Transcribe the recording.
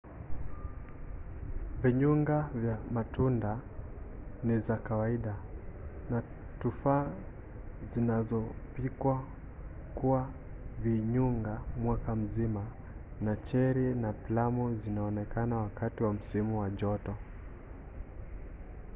vinyunga vya matunda ni za kawaida na tufaa zilizopikwa kuwa vinyunga mwaka mzima na cheri na plamu zikionekana wakati wa msimu wa joto